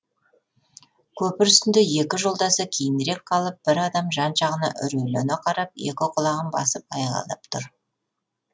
көпір үстінде екі жолдасы кейінірек қалып бір адам жан жағына үрейлене қарап екі құлағын басып айғайлап тұр